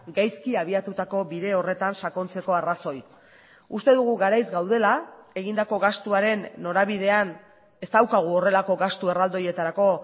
gaizki abiatutako bide horretan sakontzeko arrazoi uste dugu garaiz gaudela egindako gastuaren norabidean ez daukagu horrelako gastu erraldoietarako